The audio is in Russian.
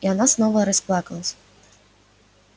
и она снова расплакалась